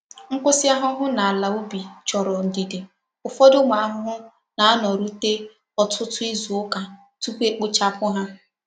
Nkwusi ahuhu n'ala ubi choro ndidi, ufodu umu ahuhu na-ano rute otutu izu uka tupu e kpochapu ha.